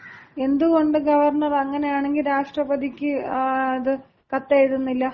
എന്തുകൊണ്ട് ഗവർണർ അങ്ങനെയാണെങ്കിൽ രാഷ്ട്രപതിക്ക് അത് കത്തെഴുതുന്നില്ല?